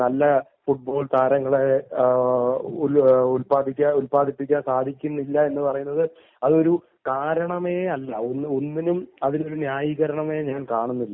നല്ല ഫുട്ബോൾ താരങ്ങളെ ഉൽപ്പാദിപ്പിക്കാൻ സാധിക്കുന്നില്ല എന്ന് പറയുന്നത് അത് ഒരു കാരണമേ അല്ല. യാതൊന്നിനും ഒരു ന്യായീകരണമേ ഞാൻ കാണുന്നില്ല